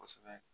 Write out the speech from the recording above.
Kosɛbɛ